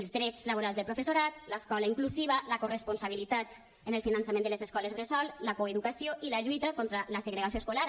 els drets laborals del professorat l’escola inclusiva la corresponsabilitat en el finançament de les escoles bressol la coeducació i la lluita contra la segregació escolar